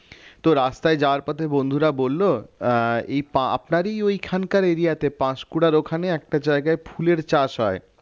তো রাস্তায় যাওয়ার পথে বন্ধুরা বলল আহ এ আপনারই ওইখানকার area তে পাঁশকুড়ার ওখানে একটা জায়গায় ফুলের চাষ হয়